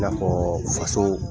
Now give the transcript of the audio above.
I n'a fɔ faso